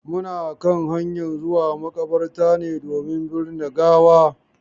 Muna kan hanyan zuwa maƙabarta ne domin birne gawa.